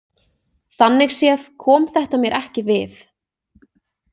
Þannig séð kom þetta mér ekki við.